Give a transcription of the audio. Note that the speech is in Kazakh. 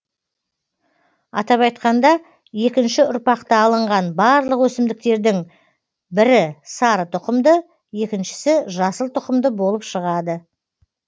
атап айтқанда екінші ұрпақта алынған барлық өсімдіктердің бірі сары тұқымды екіншісі жасыл тұқымды болып шығады